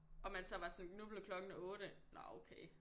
Og man så var sådan nu blev klokken 8 nåh okay